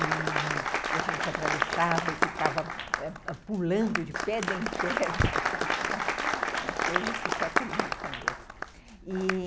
E a gente atravessava e ficava pulando de pedra em pedra lá, uma coisa que só criança mesmo, e...